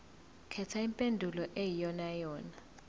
khetha impendulo eyiyonayona